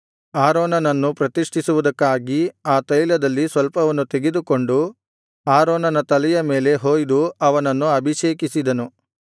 ಆರೋನನನ್ನು ಪ್ರತಿಷ್ಠಿಸುವುದಕ್ಕಾಗಿ ಆ ತೈಲದಲ್ಲಿ ಸ್ವಲ್ಪವನ್ನು ತೆಗೆದುಕೊಂಡು ಆರೋನನ ತಲೆಯ ಮೇಲೆ ಹೊಯ್ದು ಅವನನ್ನು ಅಭಿಷೇಕಿಸಿದನು